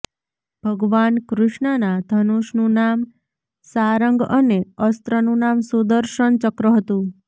ભગવાન કૃષ્ણના ધનુષનું નામ શારંગ અને અસ્ત્રનું નામ સુદર્શન ચક્ર હતું